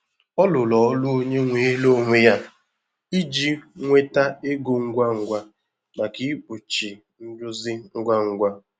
Ọ rụrụ ọrụ onye nweere onwe ya iji nweta ego ngwa ngwa maka ikpuchi nrụzi ngwa ngwa.